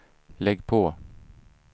lägg på